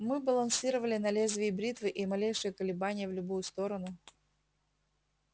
мы балансировали на лезвии бритвы и малейшее колебание в любую сторону